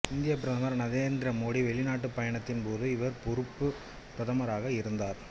இந்தியப் பிரதமர் நரேந்திர மோடி வெளிநாட்டுப் பயணத்தின் போது இவர் பொறுப்பு பிரதமாராக இருந்தார்